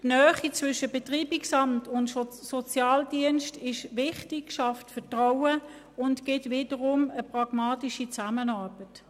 Die Nähe zwischen Betreibungsamt und Sozialdienst ist wichtig, sie schafft Vertrauen und ergibt eine pragmatische Zusammenarbeit.